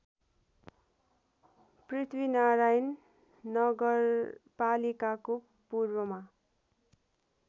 पृथ्वीनारायण नगरपालिकाको पूर्वमा